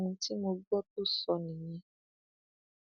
ohun tí mo gbọ tó sọ nìyẹn